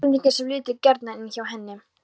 Íslendinga sem litu gjarnan inn hjá henni.